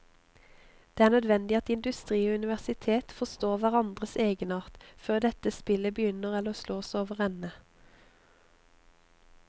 Det er nødvendig at industri og universitet forstår hverandres egenart før dette spillet begynner eller slås overende.